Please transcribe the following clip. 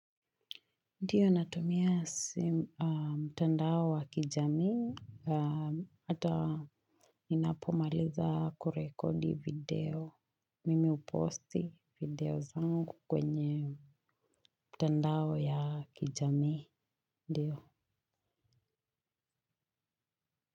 Ndio natumia mtandao wa kijami, hata ninapomaliza kurekodi video, mimi huposti video zangu kwenye mitandao ya kijami, ndio.